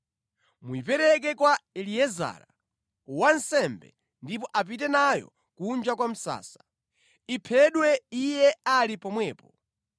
Muyipereke kwa Eliezara, wansembe ndipo apite nayo kunja kwa msasa. Iphedwe iye ali pomwepo.